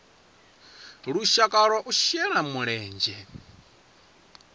lushaka lwa u shela mulenzhe